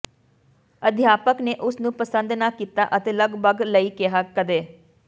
ਅਧਿਆਪਕ ਨੇ ਉਸ ਨੂੰ ਪਸੰਦ ਨਾ ਕੀਤਾ ਅਤੇ ਲਗਭਗ ਲਈ ਕਿਹਾ ਕਦੇ